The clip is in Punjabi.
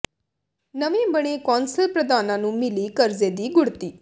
ਨਵੇਂ ਬਣੇ ਕੌਂਸਲ ਪ੍ਰਧਾਨਾਂ ਨੂੰ ਮਿਲੀ ਕਰਜ਼ੇ ਦੀ ਗੁਡ਼੍ਹਤੀ